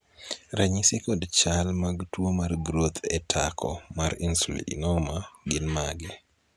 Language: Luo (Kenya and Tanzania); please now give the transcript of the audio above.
ranyisi kod chal mag tuo mar groth e tako mar Insulinoma gin mage?